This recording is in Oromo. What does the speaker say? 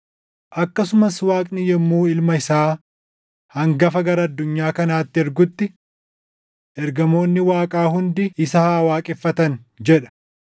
Akkasumas Waaqni yommuu Ilma isaa hangafa gara addunyaa kanaatti ergutti, “Ergamoonni Waaqaa hundi isa haa waaqeffatan” + 1:6 \+xt Far 104:4\+xt* jedha.